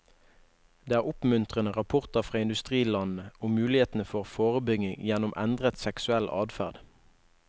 Det er oppmuntrende rapporter fra industrilandene om mulighetene for forebygging gjennom endret seksuell adferd.